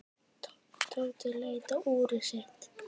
Tóti leit á úrið sitt.